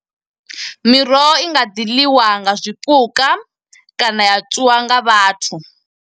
Miroho i nga ḓi ḽiwa nga zwipuka, kana ya tswiwa nga vhathu.